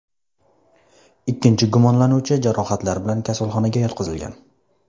Ikkinchi gumonlanuvchi jarohatlar bilan kasalxonaga yotqizilgan.